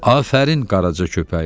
Afərin, Qaraca köpəyim!